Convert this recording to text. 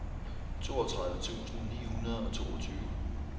toogtredive tusind ni hundrede og toogtyve